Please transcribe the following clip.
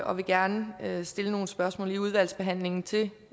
og vil gerne stille nogle spørgsmål i udvalgsbehandlingen til